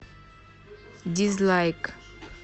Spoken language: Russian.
дизлайк